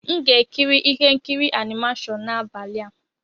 M ga-ekiri ihe nkiri animashon n'abalị a.